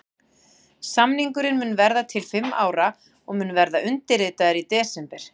Samningurinn mun vera til fimm ára og mun verða undirritaður í desember.